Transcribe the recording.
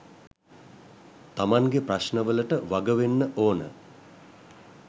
තමන්ගෙ ප්‍රශ්න වලට වග වෙන්න ඕන